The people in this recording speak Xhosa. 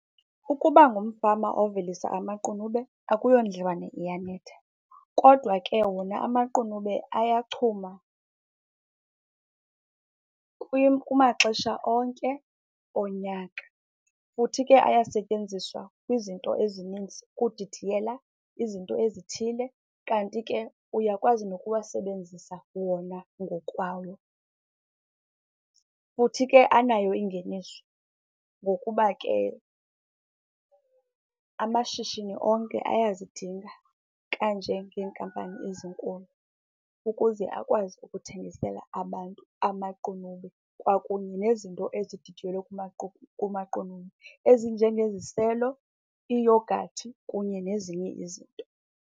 Ukuba ngumfama ovelisa amaqunube akuyondliwane iyanetha, kodwa ke wona amaqunube ayachuma kumaxesha onke onyaka. Futhi ke ayasetyenziswa kwizinto ezininzi, ukudidiyela izinto ezithile kanti ke uyakwazi nokuwasebenzisa wona ngokwawo. Futhi ke anayo ingeniso ngokuba ke amashishini onke ayazidinga kanje ngeenkampani ezinkulu ukuze akwazi ukuthengisela abantu amaqunube kwakunye nezinto ezididiyelwe kumaqunube ezinjengeziselo, iiyogathi kunye nezinye izinto.